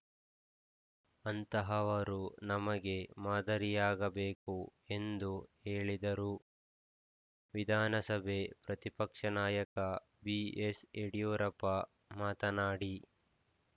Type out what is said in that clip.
ಅಂತಹವರು ನಮಗೆ ಮಾದರಿಯಾಗಬೇಕು ಎಂದು ಹೇಳಿದರು ವಿಧಾನಸಭೆ ಪ್ರತಿಪಕ್ಷನಾಯಕ ಬಿಎಸ್‌ ಯಡಿಯೂರಪ್ಪ ಮಾತನಾಡಿ